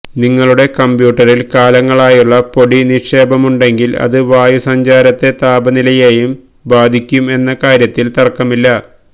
നിങ്ങളുടെ കമ്പ്യൂട്ടറില് കാലങ്ങളായുള്ള പൊടി നിക്ഷേപമുണ്ടെങ്കില് അത് വായുസഞ്ചാരത്തെയും താപനിലെയെയും ബാധിയ്ക്കും എന്ന കാര്യത്തില് തര്ക്കമില്ല